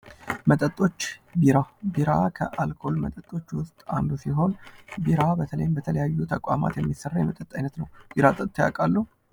መጠጦች ቢራ ቢራ ከአልኮል መጠጦች ውስጥ አንዱ ሲሆን ቢራ በተለይም በተለያዩ ተቋማት የሚሰራ የመጠጥ አይነት ነው። ቢራ ጠጥተው ያውቃሉ?